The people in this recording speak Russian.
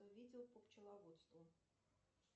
видео по пчеловодству